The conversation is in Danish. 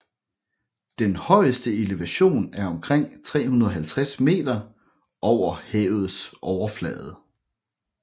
Den højeste elevation er omkring 350 m over havets overflade